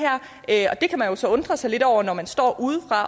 her og det kan man jo så undre sig lidt over når man står